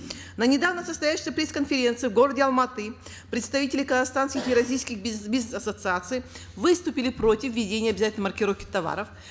на недавно состоявшейся пресс конференции в городе алматы представители казахстанских и российских бизнес ассоциаций выступили против введения обязательной маркировки товаров